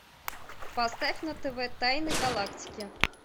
поставь на тв тайны галактики